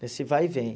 Nesse vai e vem.